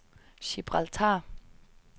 Gibraltar